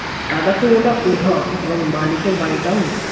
tata Sumo টা উধাও এবং মালিকের বাড়িটাও নেই